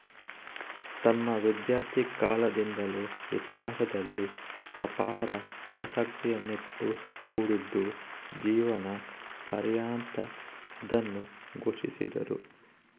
ತಮ್ಮ ವಿದ್ಯಾರ್ಥಿ ಕಾಲದಿಂದಲೂ ಇತಿಹಾಸದಲ್ಲಿ ಅಪಾರ ಆಸಕ್ತಿಯನ್ನಿಟ್ಟುಕೊಂಡಿದ್ದು ಜೀವನ ಪರ್ಯಂತ ಅದನ್ನು ಪೋಷಿಸಿದರು